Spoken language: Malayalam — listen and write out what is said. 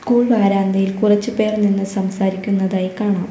സ്കൂൾ വരാന്തയിൽ കുറച്ച് പേർ നിന്ന് സംസാരിക്കുന്നതായി കാണാം.